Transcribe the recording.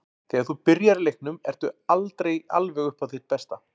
Þegar þú byrjar í leiknum ertu aldrei alveg upp á þitt besta.